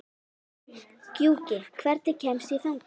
Gjúki, hvernig kemst ég þangað?